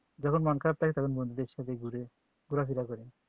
যখন মন খারাপ থাকে বন্ধুদের সাথে ঘুরে ঘুরে ফেরা করি